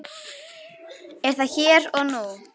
Er það hér og nú?